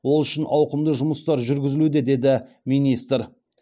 ол үшін ауқымды жұмыстар жүргізілуде деді министр